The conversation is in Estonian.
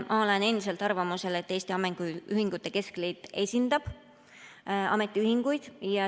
Ma olen endiselt arvamusel, et Eesti Ametiühingute Keskliit esindab ametiühinguid.